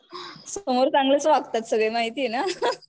समोर चांगलेच वागतात सगळे माहितीये ना?